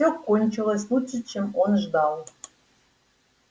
все кончилось лучше чем он ждал